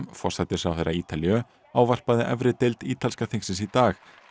forsætisráðherra Ítalíu ávarpaði efri deild ítalska þingsins í dag